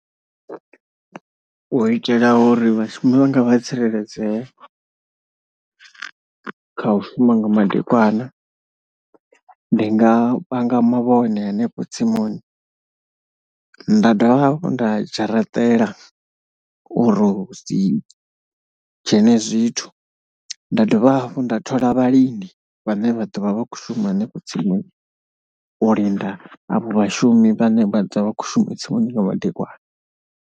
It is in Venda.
U itela uri vhashumi vhanga vha tsireledzee kha u shuma nga madekwana ndi nga panga mavhone hanefho tsimuni nda dovha hafhu nda dzharaṱela uri hu si dzhene zwithu. Nda dovha hafhu nda thola vhalindi vhane vha ḓo vha vha khou shuma hanefho tsimuni u linda avho vhashumi vhane vha ḓo vha vha khou shuma tsimuni nga madekwana.